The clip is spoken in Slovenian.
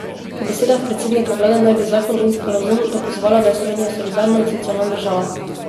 Po besedah predsednika vlade naj bi zakon in sporazum dokazovala, da je Slovenija solidarna in socialna država.